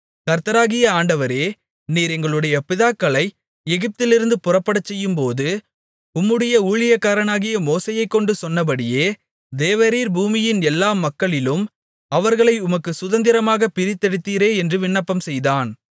கர்த்தராகிய ஆண்டவரே நீர் எங்களுடைய பிதாக்களை எகிப்திலிருந்து புறப்படச்செய்யும்போது உம்முடைய ஊழியக்காரனாகிய மோசேயைக்கொண்டு சொன்னபடியே தேவரீர் பூமியின் எல்லா மக்களிலும் அவர்களை உமக்குச் சுதந்திரமாகப் பிரித்தெடுத்தீரே என்று விண்ணப்பம் செய்தான்